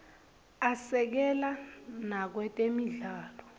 asekela nakwetemidlalo